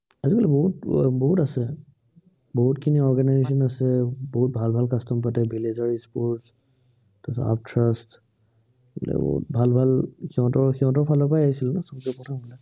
উম আজিকালি বহুত, বহুত আছে। বহুতখিনি organization আছে, বহুত ভাল ভাল custom পাতে village ৰ sports তাৰপিছত আৰ্থাৰাষ্ট সেইবিলাক বহুত ভাল ভাল সিহঁতৰ, সিহঁতৰ ফালৰ পৰাই আহিছে সৱচে প্ৰথম